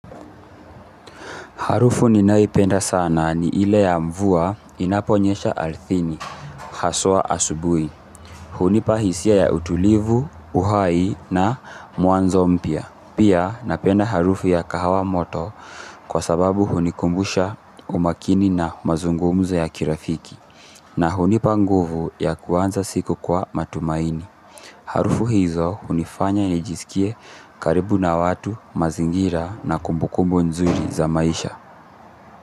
Harufu ninayoipenda sana ni ile ya mvua inaponyesha ardhini, hasa asubuhi. Hunipa hisia ya utulivu, uhai na mwanzo mpya. Pia napenda harufu ya kahawa moto kwa sababu hunikumbusha umakini na mazungumzo ya kirafiki. Na hunipa nguvu ya kuanza siku kwa matumaini. Harufu hizo hunifanya nijisikie karibu na watu, mazingira na kumbukumbu nzuri za maisha.